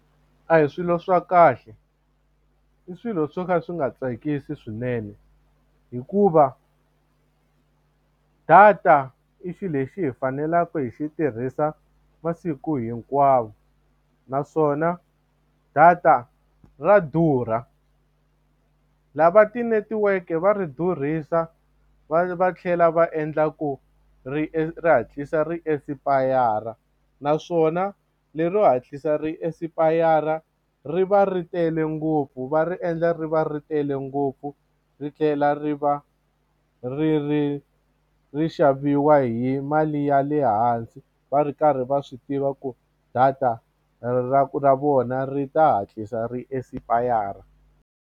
A hi swilo swa kahle i swilo swo ka swi nga tsakisi swinene hikuva data i xilo lexi hi faneleke hi xi tirhisa masiku hinkwawo naswona data ra durha lava tinetiweke va ri durhisa va va tlhela va endla ku ri ri hatlisa ri esipayara naswona lero hatlisa ri esipayara ri va ri tele ngopfu va ri endla ri va ri tele ngopfu ri tlhela ri va ri ri ri xaviwa hi mali ya le hansi va ri karhi va swi tiva ku data ra ra vona ri ta hatlisa ri esipayara.